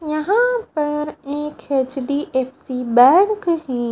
यहाँ पर एक एच_डी_एफ_सी बैंक है।